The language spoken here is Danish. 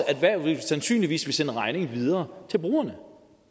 erhvervet sandsynligvis vil sende regningen videre til brugerne